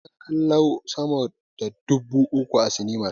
Akwai ƴan kallo sama da dubu uku a sinimar.